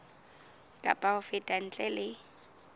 kapa ho feta ntle le